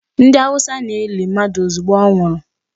Ndị Hausa na-eli mmadụ ozugbo ọ nwụrụ.